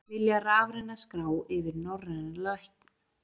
Vilja rafræna skrá yfir norræna lækna